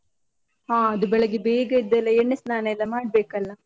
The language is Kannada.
ಹಾ ಅದು ಬೆಳಗ್ಗೆ ಬೇಗ ಎದ್ದೆಲ್ಲ, ಎಣ್ಣೆ ಸ್ನಾನ ಎಲ್ಲ ಮಾಡ್ಬೇಕಲ್ಲ.